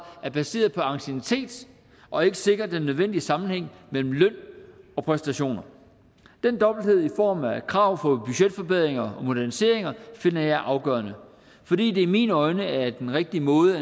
er baseret på anciennitet og ikke sikrer den nødvendige sammenhæng mellem løn og præstationer den dobbelthed i form af krav om budgetforbedringer og moderniseringer finder jeg afgørende fordi det i mine øjne er den rigtige måde